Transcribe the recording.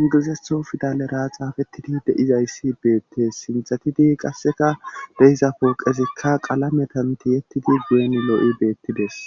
ingilizetho pidalera xaafettidi de'izayssi beettes sinthetidi qasseka de'iza pooqezikka qalametan tiyettidi guyen lo'i beettides